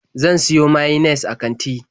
Zan siyo mayines a kanti.